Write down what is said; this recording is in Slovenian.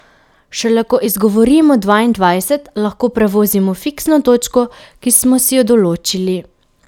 Šele ko izgovorimo dvaindvajset, lahko prevozimo fiksno točko, ki smo si jo določili.